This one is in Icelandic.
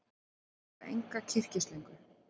Þau eiga enga kyrkislöngu.